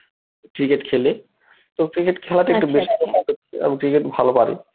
cricket খেলি তো cricket খেলাটা একটু আমি cricket ভালো পারি